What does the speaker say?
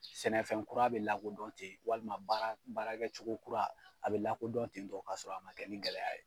Sɛnɛfɛn kura bɛ lakodɔn ten walima baara baara kɛcogo kura a bɛ lakodɔn ten tɔn k'a sɔrɔ a man kɛ ni gɛlɛya ye.